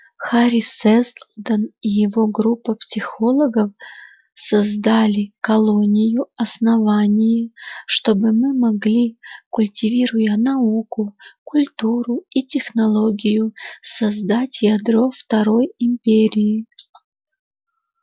хари сэлдон и его группа психологов создали колонию основание чтобы мы могли культивируя науку культуру и технологию создать ядро второй империи